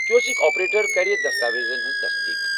Kiosk operator کر دستاویزن ہنٛز تصدیٖق۔